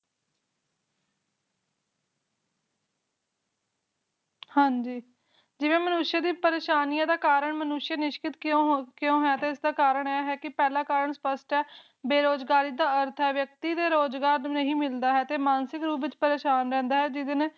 ਹਾਜੀ ਜਿਵੇ ਮਨੁਖ ਦੀਆ ਪਰੇਸ਼ਆਨੀ ਦਾ ਕਰਨ ਮਨੁਸ਼ ਨਿਸ਼੍ਕਿਤ ਕਿਉ ਹੋ ਤੇ ਇਸਦਾ ਪਹਿਲਾ ਕਰਨ ਸਪਸ਼ਟ ਹੈ ਬੇਰੁਜਗਾਰੀ ਦਾ ਅਰਥ ਹੈ ਵਿਕਤੀ ਦੇ ਨੂ ਰੋਜਗਾਰ ਨਹੀ ਮਿਲਦਾ ਜਿਸ ਨਾਲ ਓਹ ਮਾਨਸਿਕ ਤੋਰ ਤੇ ਪਰੇਸ਼ਾਨ ਰਹਿੰਦਾ ਹੈ